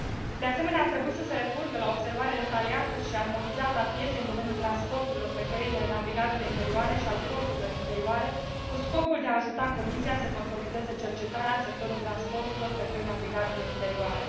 De asemenea, ar trebui să se recurgă la observarea detaliată și armonizată a pieței în domeniul transporturilor pe căile navigabile interioare și al porturilor interioare, cu scopul de a ajuta Comisia să consolideze cercetarea în sectorul transporturilor pe căi navigabile interioare.